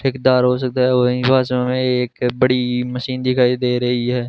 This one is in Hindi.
ठेकदारों से कहे हुए इन भाषा में एक बड़ी मशीन दिखाई दे रही है।